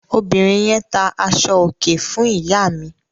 Obìnrin yẹn tá aṣọòkè fún ìyá mi.